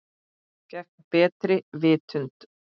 Gegn betri vitund.